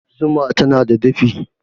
Zuma tana dafi